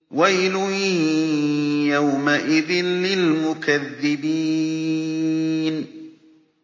وَيْلٌ يَوْمَئِذٍ لِّلْمُكَذِّبِينَ